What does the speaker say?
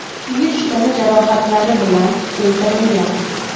kuyish tana jarohatlari bilan keltirilgan.